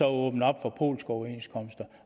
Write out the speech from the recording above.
åbnede op for polske overenskomster